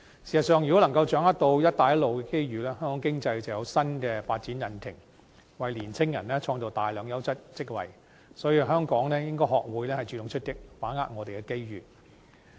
事實上，如果能夠好好掌握"一帶一路"的機遇，香港經濟便有新的發展引擎，亦為青年人創造大量優質職位，所以香港應該學會主動出擊，把握我們的機遇。